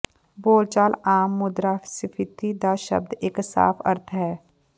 ਬੋਲਚਾਲ ਆਮ ਮੁਦਰਾਸਫੀਤੀ ਦਾ ਸ਼ਬਦ ਇੱਕ ਸਾਫ ਅਰਥ ਹੈ